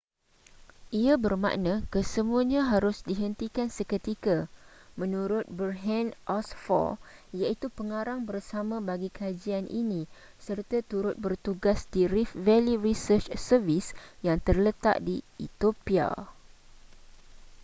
ia bermakna kesemuanya harus dihentikan seketika menurut berhanne asfaw iaitu pengarang bersama bagi kajian ini serta turut bertugas di rift valley research service yang terletak di ethiopia